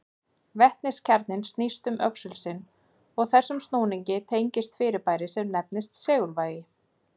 Vetniskjarninn snýst um öxul sinn og þessum snúningi tengist fyrirbæri sem nefnist segulvægi.